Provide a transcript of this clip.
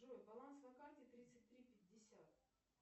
джой баланс на карте тридцать три пятьдесят